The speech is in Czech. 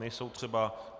Nejsou třeba.